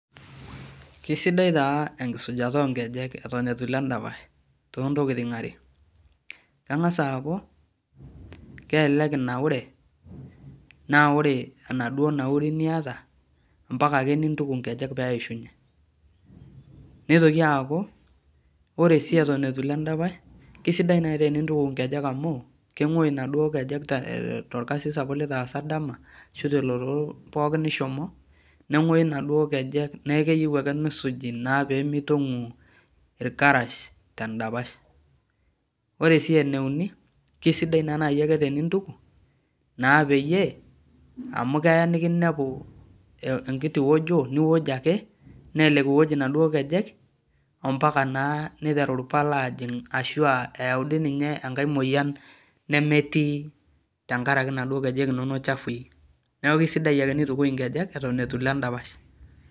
Keisidai taa enkisujata onkej eton eitu ilo endapash toontoking are ,kengas aaku kelelek inaure naa ore enaduo naturi niyata naa mpaka ake nintuku nkejek pee eishunye ,nitoki aaku ore eton eitu ile endapash keisidai naaji tenintuku nkejek amu kengoyu naduo kejek torkasi sapuk litaasa dama ,ashu teloloto duo nishomo nengoyu naduo kejek neeku keyieu naake neisuji pee mitongu irkarash tendapash ,ore sii ene uni eisidai naaji ake tenintuku naa peyie amu kelo nikinepu enkito ojo nioj naduo kejek nioj mpaka niteru irpala ajing ashu eyau doi ninye enkae moyian nemetii tenkaraki naduo kejek inonok chafui neeku eisidai ake tenisuji nkejek eton eitu ilo endapash.